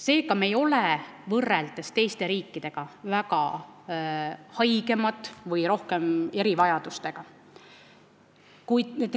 Seega, me ei ole võrreldes teiste riikidega väga haigemad või meil ei ole rohkem erivajadusega inimesi.